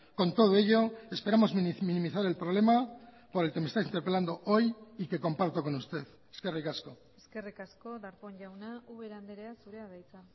con todo ello esperamos minimizar el problema por el que me está interpelando hoy y que comparto con usted eskerrik asko eskerrik asko darpón jauna ubera andrea zurea da hitza